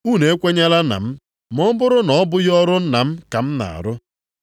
Unu ekwenyela na m, ma ọ bụrụ na ọ bụghị ọrụ Nna m ka m na-arụ.